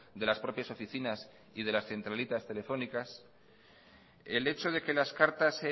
de las propias oficinas y de las centralitas telefónicas el hecho de que las cartas